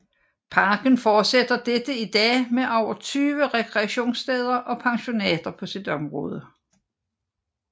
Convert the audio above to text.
Parken fortsætter dette i dag med over 20 rekreationssteder og pensionater på sit område